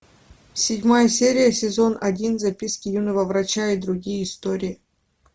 седьмая серия сезон один записки юного врача и другие истории